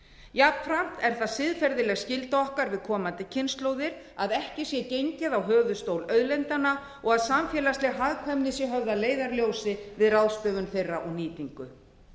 jafnframt er það siðferðileg skylda okkar við komandi kynslóðir að ekki sé gengið á höfuðstól auðlindanna og að samfélagsleg hagkvæmni sé höfð að leiðarljósi við ráðstöfun þeirra og nýtingu